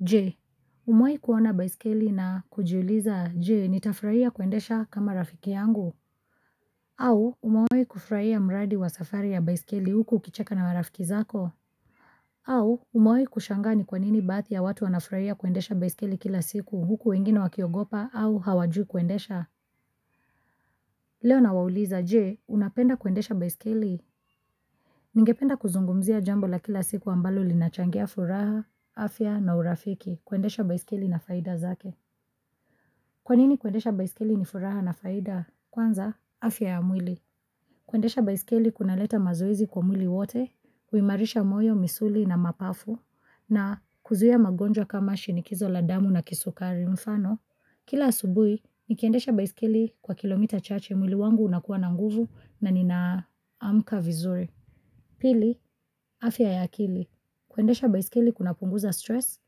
Je, umewahi kuona baiskeli na kujiuliza, je, nitafurahia kuendesha kama rafiki yangu? Au umewahi kufurahia mradi wa safari ya baiskeli huku ukicheka na marafiki zako? Au umewahi kushangaa ni kwa nini baadhi ya watu wanafurahia kuendesha baiskeli kila siku huku wengine wakiogopa au hawajui kuendesha? Leo nawauliza, je, unapenda kuendesha baiskeli? Ningependa kuzungumzia jambo la kila siku ambalo linachangia furaha afya na urafiki kuendesha baiskeli na faida zake Kwa nini kuendesha baiskeli ni furaha na faida? Kwanza, afya ya mwili. Kuendesha baiskeli kunaleta mazoezi kwa mwili wote, kuimarisha moyo, misuli na mapafu, na kuzuia magonjwa kama shinikizo la damu na kisukari mfano. Kila asubuhi, nikiendesha baiskeli kwa kilomita chache mwili wangu unakuwa na nguvu na ninaamka vizuri. Pili, afya ya akili. Kuendesha baiskeli kunapunguza stress,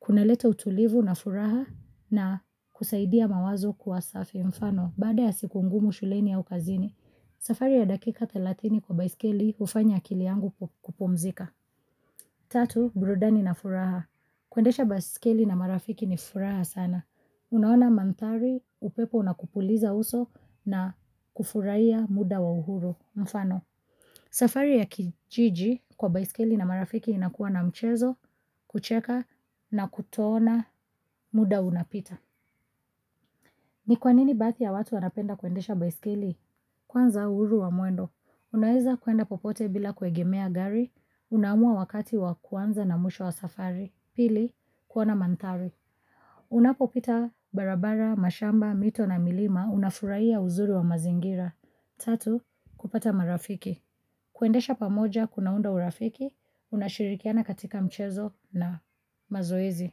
kunaleta utulivu na furaha na kusaidia mawazo kuwa safi mfano. Baada ya siku ngumu shuleni au kazini, safari ya dakika 30 kwa baiskeli hufanya akili yangu kupumzika. Tatu, burudani na furaha. Kuendesha baiskeli na marafiki ni furaha sana. Unaona mandhari, upepo unakupuliza uso na kufurahia muda wa uhuru mfano. Safari ya kijiji kwa baiskeli na marafiki inakuwa na mchezo, kucheka na kutoona muda unapita. Ni kwa nini baadhi ya watu wanapenda kuendesha baiskeli? Kwanza, uhuru wa mwendo. Unaweza kwenda popote bila kuegemea gari, unaamua wakati wa kuanza na mwisho wa safari. Pili, kuona mandhari. Unapopita barabara, mashamba, mito na milima, unafurahia uzuri wa mazingira. Tatu, kupata marafiki. Kuendesha pamoja kunaunda urafiki, unashirikiana katika mchezo na mazoezi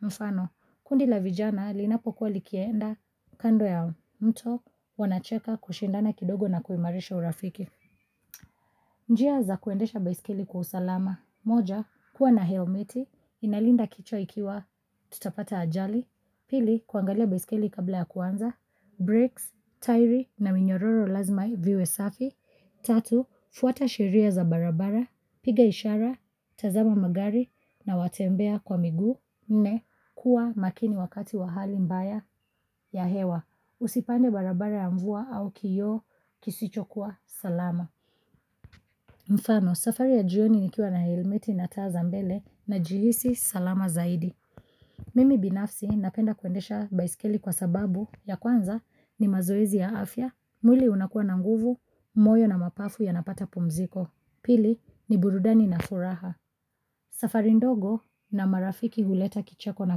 mfano, kundi la vijana linapokuwa likienda kando ya mto wanacheka kushindana kidogo na kuimarisha urafiki. Njia za kuendesha baiskeli kwa usalama. Moja, kuwa na helmeti, inalinda kichwa ikiwa tutapata ajali. Pili, kuangalia baiskeli kabla ya kuanza. Brakes, tairi na minyororo lazima viwe safi. Tatu, fuata sheria za barabara, piga ishara, tazama magari na watembea kwa miguu. Nne, kuwa makini wakati wa hali mbaya ya hewa. Usipande barabara ya mvua au kioo kisichokuwa salama. Mfano safari ya jioni nikiwa na helmeti na taa za mbele najihisi salama zaidi. Mimi binafsi napenda kuendesha baiskeli kwa sababu ya kwanza ni mazoezi ya afya, mwili unakuwa na nguvu, moyo na mapafu yanapata pumziko. Pili ni burudani na furaha. Safari ndogo na marafiki huleta kicheko na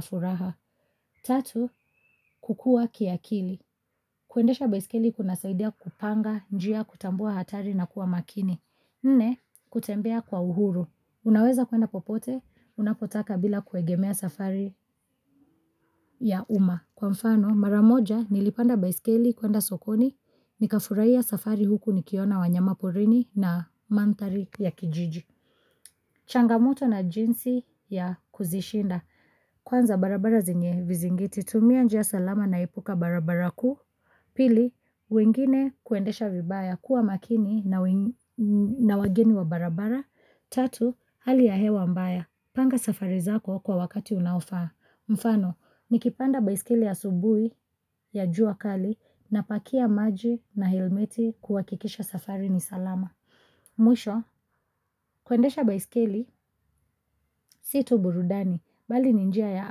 furaha. Tatu, kukua kiakili. Kuendesha baiskeli kunasaidia kupanga njia, kutambua hatari na kuwa makini. Nne, kutembea kwa uhuru. Unaweza kwenda popote unapotaka bila kuegemea safari ya umma. Kwa mfano, mara moja, nilipanda baiskeli kwenda sokoni, nikafurahia safari huku nikiona wanyama porini na mandhari ya kijiji. Changamoto na jinsi ya kuzishinda. Kwanza barabara zenye vizingiti. Tumia njia salama na epuka barabara kuu. Pili, wengine kuendesha vibaya kuwa makini na wageni wa barabara. Tatu, hali ya hewa mbaya. Panga safari zako kwa wakati unaofaa. Mfano, nikipanda baiskeli asubuhi ya jua kali napakia maji na helmeti kuhakikisha safari ni salama. Mwisho, kuendesha baiskeli si tu burudani, bali ni njia ya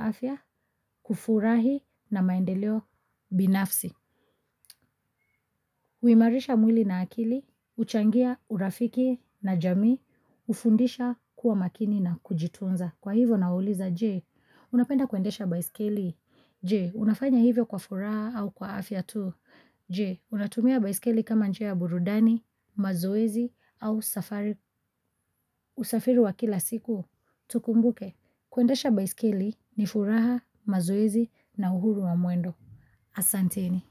afya, kufurahi na maendeleo binafsi huimarisha mwili na akili, huchangia urafiki na jamii, hufundisha kuwa makini na kujitunza. Kwa hivyo nauliza, je, unapenda kuendesha baiskeli? Je, unafanya hivyo kwa furaha au kwa afya tu? Je, unatumia baiskeli kama njia ya burudani, mazoezi au safari usafiri wa kila siku? Tukumbuke, kuendesha baiskeli ni furaha, mazoezi na uhuru wa mwendo. Asanteni.